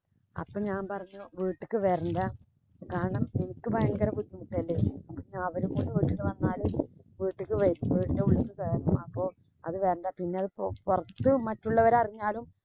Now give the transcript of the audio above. അപ്പൊ ഞാന്‍ പറഞ്ഞു വീട്ട്ക്ക് വരണ്ട. കാരണം എനിക്ക് ഭയങ്കര ബുദ്ധിമുട്ട് അല്ലേ. അവരും കൂടി വന്നാല് വീടിനുള്ളിലേക്ക് കയറും. അപ്പൊ അത് വേണ്ട. പിന്നത് പൊറത്ത് മറ്റുള്ളവരുടെ മറ്റുള്ളവര് അറിഞ്ഞാലും